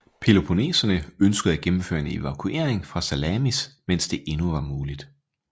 Peloponneserne ønskede at gennemføre en evakuering fra Salamis mens det endnu var muligt